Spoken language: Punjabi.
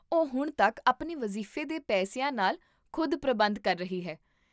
ਉਹ ਹੁਣ ਤੱਕ ਆਪਣੇ ਵਜ਼ੀਫ਼ੇ ਦੇ ਪੈਸਿਆਂ ਨਾਲ ਖ਼ੁਦ ਪ੍ਰਬੰਧ ਕਰ ਰਹੀ ਹੈ